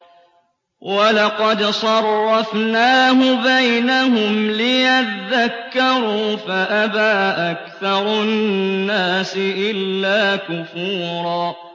وَلَقَدْ صَرَّفْنَاهُ بَيْنَهُمْ لِيَذَّكَّرُوا فَأَبَىٰ أَكْثَرُ النَّاسِ إِلَّا كُفُورًا